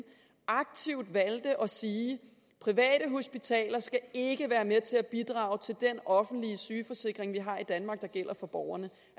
aktivt valgte at sige private hospitaler skal ikke være med til at bidrage til den offentlige sygeforsikring vi har i danmark der gælder for borgerne